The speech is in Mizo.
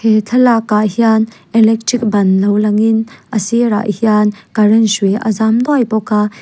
he thlalak ah hian electric ban lo langin a sirah hian current hrui a zam nuai bawk.